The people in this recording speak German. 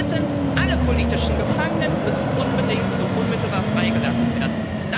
Drittens Alle politischen Gefangenen müssen unbedingt und unmittelbar freigelassen werden.